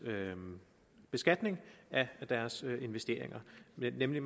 beskatning af deres investeringer nemlig